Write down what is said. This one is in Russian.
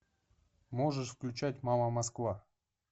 можешь включать мама москва